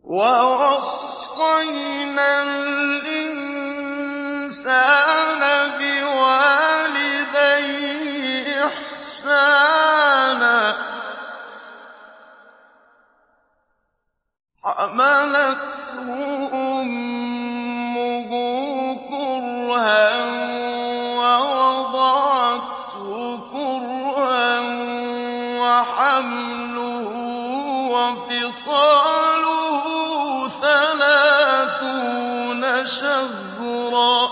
وَوَصَّيْنَا الْإِنسَانَ بِوَالِدَيْهِ إِحْسَانًا ۖ حَمَلَتْهُ أُمُّهُ كُرْهًا وَوَضَعَتْهُ كُرْهًا ۖ وَحَمْلُهُ وَفِصَالُهُ ثَلَاثُونَ شَهْرًا ۚ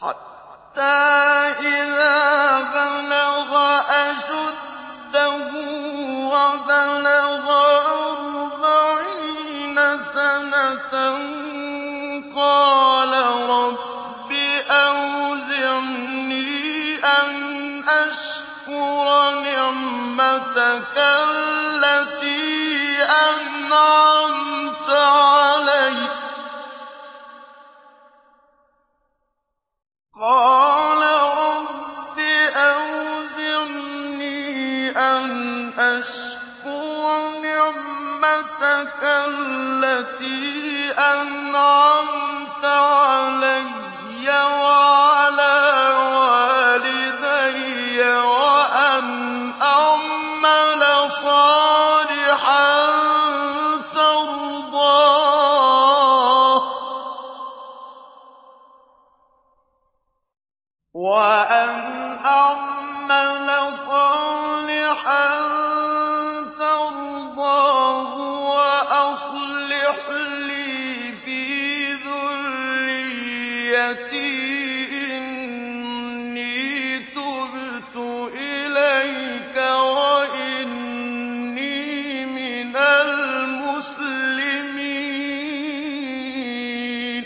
حَتَّىٰ إِذَا بَلَغَ أَشُدَّهُ وَبَلَغَ أَرْبَعِينَ سَنَةً قَالَ رَبِّ أَوْزِعْنِي أَنْ أَشْكُرَ نِعْمَتَكَ الَّتِي أَنْعَمْتَ عَلَيَّ وَعَلَىٰ وَالِدَيَّ وَأَنْ أَعْمَلَ صَالِحًا تَرْضَاهُ وَأَصْلِحْ لِي فِي ذُرِّيَّتِي ۖ إِنِّي تُبْتُ إِلَيْكَ وَإِنِّي مِنَ الْمُسْلِمِينَ